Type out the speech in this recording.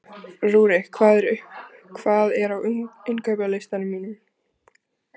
Rúrik, hvað er á innkaupalistanum mínum?